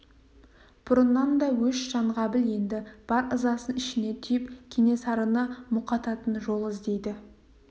бұрыннан да өш жанғабыл енді бар ызасын ішіне түйіп кенесарыны мұқататын жол іздейді